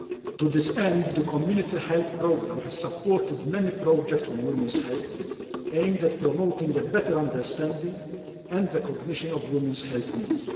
To this end, the Community health programme has supported many projects on women's health aimed at promoting a better understanding and recognition of women's health needs.